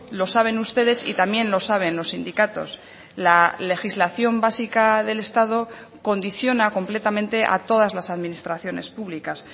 lo saben ustedes y también lo saben los sindicatos la legislación básica del estado condiciona completamente a todas las administraciones públicas